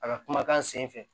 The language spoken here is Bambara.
A ka kumakan sen fɛ